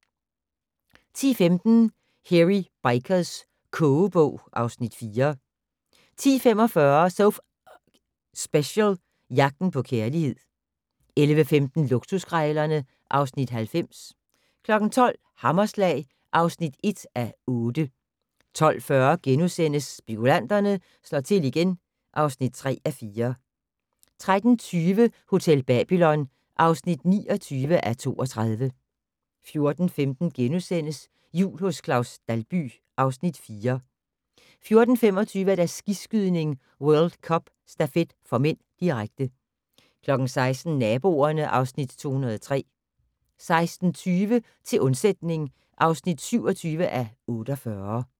10:15: Hairy Bikers kogebog (Afs. 4) 10:45: So F***ing Special - Jagten på kærlighed 11:15: Luksuskrejlerne (Afs. 90) 12:00: Hammerslag (1:8) 12:40: Spekulanterne slår til igen (3:4)* 13:20: Hotel Babylon (29:32) 14:15: Jul hos Claus Dalby (Afs. 4)* 14:25: Skiskydning: World Cup - stafet (m), direkte 16:00: Naboerne (Afs. 203) 16:20: Til undsætning (27:48)